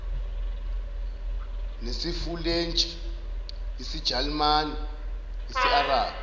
nesifulentshi isijalimane isiarabhu